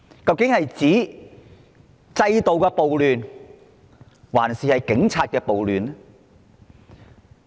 究竟是要停止制度的暴亂，還是警察的暴亂？